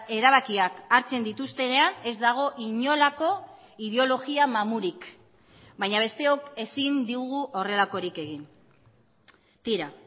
erabakiak hartzen dituztenean ez dago inolako ideologia mamurik baina besteok ezin dugu horrelakorik egin tira